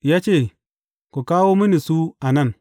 Ya ce, Ku kawo mini su a nan.